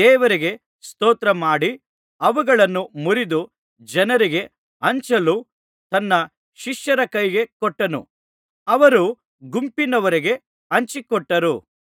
ದೇವರಿಗೆ ಸ್ತೋತ್ರಮಾಡಿ ಅವುಗಳನ್ನು ಮುರಿದು ಜನರಿಗೆ ಹಂಚಲು ತನ್ನ ಶಿಷ್ಯರ ಕೈಗೆ ಕೊಟ್ಟನು ಅವರು ಗುಂಪಿನವರಿಗೆ ಹಂಚಿಕೊಟ್ಟರು